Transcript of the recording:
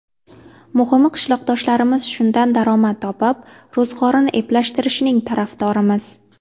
Muhimi qishloqdoshlarimiz shundan daromad topib, ro‘zg‘orini eplashtirishining tarafdorimiz.